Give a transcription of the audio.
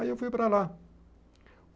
Aí eu fui para lá.